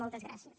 moltes gràcies